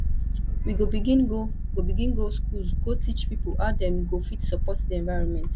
we go begin go go begin go skools go teach pipo how dem go fit support di environment